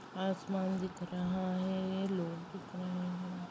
आसमान दिख रहा है लोग दिख रहे है।